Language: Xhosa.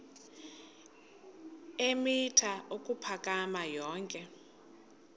eemitha ukuphakama yonke